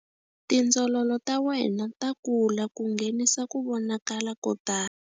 Tindzololo ta wena ta kula ku nghenisa ku vonakala ko tala.